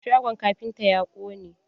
Shagon kafintan ya ƙone.